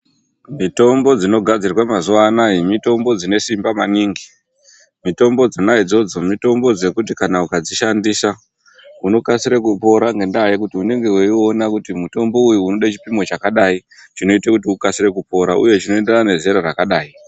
Mitombo dzinogadzirwe mazuwa anaya, mitombo dzine simba maningi. Mitombo dzona idzodzo, mitombo dzekuti kana ukadzishandisa, unokasire kupora ngendaa yekuti unenge weiona kuti mutombo uyu unode chipimo chakadai chinoite kuti ukasire kupora uye chinoenderana nezera rakadai.